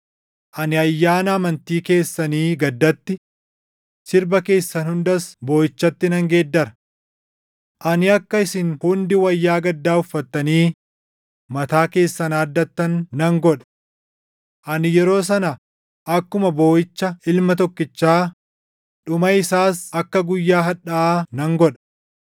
Ani ayyaana amantii keessanii gaddatti, sirba keessan hundas booʼichatti nan geeddara. Ani akka isin hundi wayyaa gaddaa uffattanii mataa keessan haaddattan nan godha. Ani yeroo sana akkuma booʼicha ilma tokkichaa, dhuma isaas akka guyyaa hadhaaʼaa nan godha.”